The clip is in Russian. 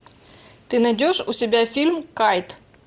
ты найдешь у себя фильм кайт